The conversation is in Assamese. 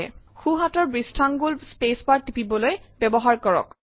সোঁহাতৰ বৃষ্ঠাঙ্গুল স্পেচ বাৰ টিপিবলৈ ব্যৱহাৰ কৰক